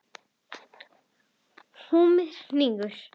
Húmið hnígur.